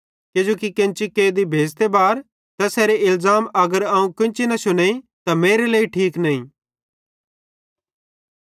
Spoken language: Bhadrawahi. किजोकि केन्ची कैदी भेज़ते बार तैसेरे इलज़ाम अगर अवं केन्ची न शुनेइं त मेरी लेइ ठीक नईं